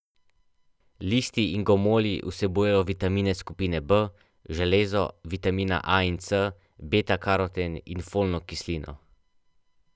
Listi in gomolji vsebujejo vitamine skupine B, železo, vitamina A in C, beta karoten in folno kislino.